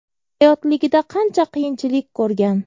Hayotligida qancha qiyinchilik ko‘rgan.